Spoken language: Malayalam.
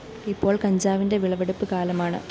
ഇപ്പോള്‍ കഞ്ചാവിന്റെ വിളവെടുപ്പ് കാലമാണ്